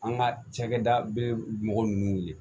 An ka cakɛda be mɔgɔ nunnu wele